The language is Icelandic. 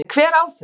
En hver á þau?